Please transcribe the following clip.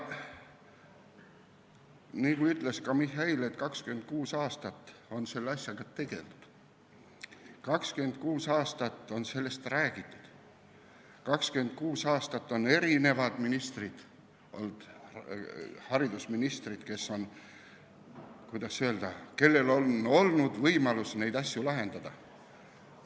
Nagu ka Mihhail ütles, 26 aastat on selle asjaga tegeldud, 26 aastat on sellest räägitud, 26 aastat on ministritel, haridusministritel olnud võimalus neid asju lahendada.